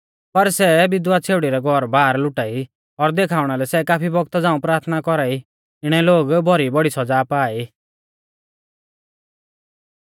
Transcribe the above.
पर सै विधवा छ़ेउड़ी रै घौरबार लुटा ई और देखाउणा लै सै काफी बौगता झ़ांऊ प्राथना कौरा ई इणै लोग भौरी बौड़ी सौज़ा पा ई